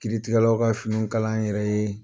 Kiritigɛlaw ka finiw kala an yɛrɛ ye